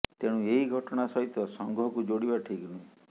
ତେଣୁ ଏହି ଘଟଣା ସହିତ ସଂଘକୁ ଯୋଡିବା ଠିକ୍ ନୁହେଁ